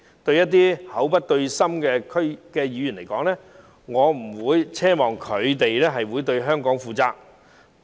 對於一些口不對心的議員，我不會奢望他們對香港負責。